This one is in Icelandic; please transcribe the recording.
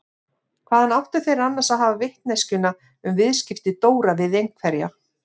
Hvaðan áttu þeir annars að hafa vitneskjuna um viðskipti Dóra við einhverja?